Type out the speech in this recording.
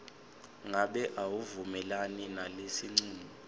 ngabe awuvumelani nalesincumo